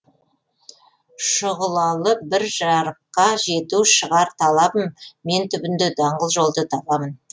шұғылалы бір жарыққа жету шығар талабым мен түбінде даңғыл жолды табамын